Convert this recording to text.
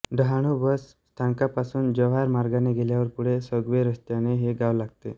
Dahanu bus स्थानकापासून जव्हार मार्गाने गेल्यावर पुढे सोगवे रस्त्याने हे गाव लागते